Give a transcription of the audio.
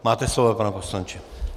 Máte slovo, pane poslanče.